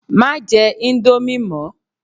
Má jẹ íńdómì mọ!